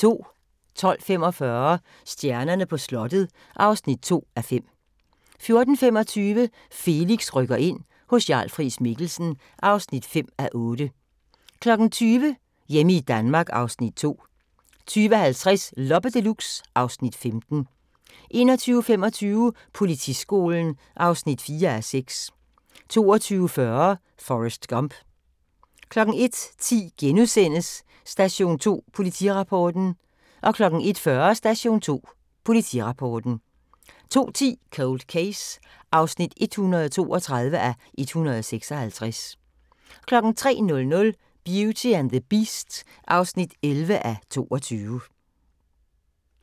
12:45: Stjernerne på slottet (2:5) 14:25: Felix rykker ind – hos Jarl Friis-Mikkelsen (5:8) 20:00: Hjemme i Danmark (Afs. 2) 20:50: Loppe Deluxe (Afs. 15) 21:25: Politiskolen (4:6) 22:40: Forrest Gump 01:10: Station 2 Politirapporten * 01:40: Station 2 Politirapporten 02:10: Cold Case (132:156) 03:00: Beauty and the Beast (11:22)